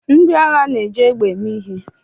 Ndị agha na-eji egbe eme ihe